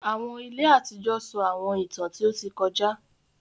Àwọn ìlẹ̀ àtijọ sọ Àwọńìtàn tí o tì kọ̀jà.